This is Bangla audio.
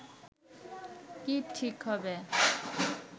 কি ঠিক হবে